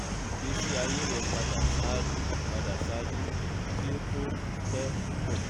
yi igbesi aye rẹ pada ṣaaju pada ṣaaju ki o to pẹ pupọ